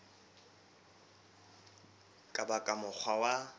ka ba ka mokgwa wa